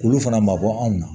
Olu fana ma bɔ anw na